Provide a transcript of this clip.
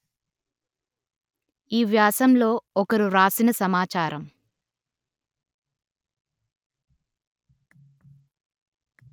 ఈ వ్యాసంలో ఒకరు వ్రాసిన సమాచారం